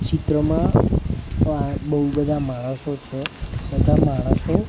ચિત્રમાં આ બઉ બધા માણસો છે બધા માણસો--